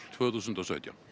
tvö þúsund og sautján